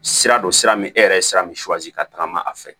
Sira don sira min e yɛrɛ ye sira min ka tagama a fɛ